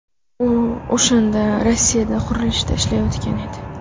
U o‘shanda Rossiyada qurilishda ishlayotgan edi.